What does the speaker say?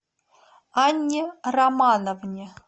анне романовне